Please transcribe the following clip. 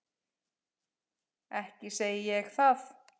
Ekki segi ég það.